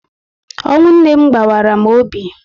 Ọnwụ nne m gbawara m obi